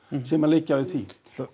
sem að liggja við því